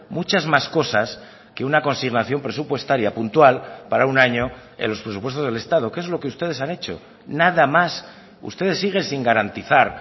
muchas más cosas que una consignación presupuestaria puntual para un año en los presupuestos del estado que es lo que ustedes han hecho nada más ustedes siguen sin garantizar